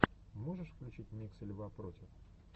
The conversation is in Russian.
можешь включить миксы льва против